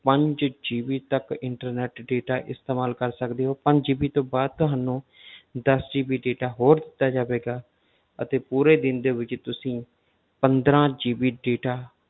ਪੰਜ GB ਤੱਕ internet data ਇਸਤੇਮਾਲ ਕਰ ਸਕਦੇ ਹੋ ਪੰਜ GB ਤੋਂ ਬਾਅਦ ਤੁਹਾਨੂੰ ਦਸ GB data ਹੋਰ ਦਿੱਤਾ ਜਾਵੇਗਾ ਅਤੇ ਪੂਰੇ ਦਿਨ ਦੇ ਵਿੱਚ ਤੁਸੀਂ ਪੰਦਰਾਂ GB data